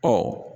Ɔ